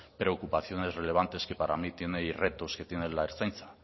preocupaciones relevantes que para mí tiene y retos que tiene la ertzaintza